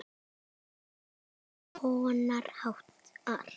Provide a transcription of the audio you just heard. Til eru margs konar hattar.